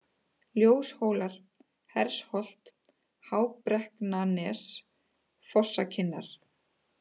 Ljóshólar, Hersholt, Hábrekknanes, Fossakinnar